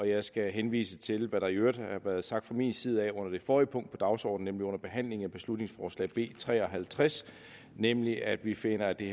jeg skal henvise til hvad der i øvrigt har været sagt fra min side under det forrige punkt på dagsordenen under behandlingen af beslutningsforslag b tre og halvtreds nemlig at vi finder at det